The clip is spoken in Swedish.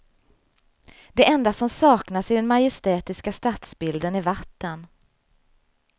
Det enda som saknas i den majestätiska stadsbilden är vatten.